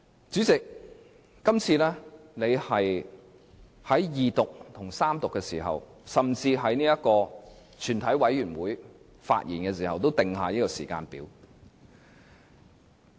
主席這一次就二讀辯論和三讀，甚至是全體委員會審議設下時間表。